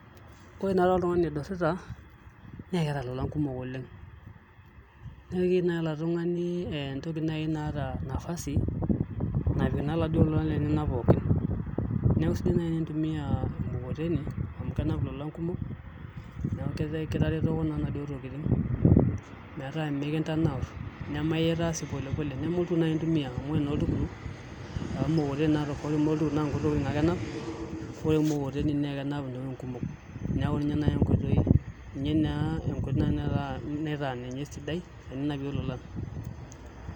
Ore naatoi oltungani oidurrita naa keeta ilolang kumok inkatambo oleng' neeku keyiu oladuo tungani enkoti nai naata nafasi napiki naa iladuo ola lenyek pooki Neku sidai nai tenintumiya emukokoteni amu kenap ilolang kumok neeku kitaretoki inaduo tokitin meeta mikintanaur nemaitaa sii polepole neme oltukutuk nai intumiya amu ore nai oltukutuk amu ore mukokoteni naa tofauti oltukutuk naa nkuti tokitin ake enap ore mukokoteni naa kenap intokitin kumok ninye naa enkoitoi naitaa ninye sidai teninapue lolan.